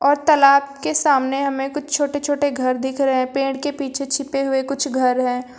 और तालाब के सामने हमें कुछ छोटे छोटे घर दिख रहे हैं पेड़ के पीछे छिपे हुए कुछ घर हैं।